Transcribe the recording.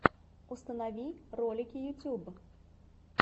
установи ролики ютуб